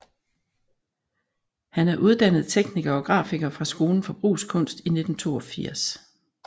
Han er uddannet tekniker og grafiker fra Skolen for Brugskunst i 1982